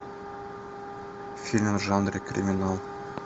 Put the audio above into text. фильм в жанре криминал